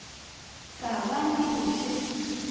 ka ba le go še